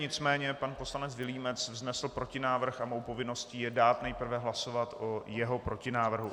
Nicméně pan poslanec Vilímec vznesl protinávrh a mou povinností je dát nejprve hlasovat o jeho protinávrhu.